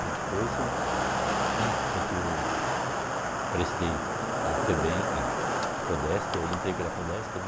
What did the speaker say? Aí depois foi foi que eu prestei a Febem, a Prodesp, aí entrei pela Prodesp, né?